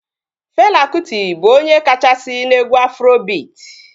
Fela Kụti bụ onye kachasị n'egwu Afrobiit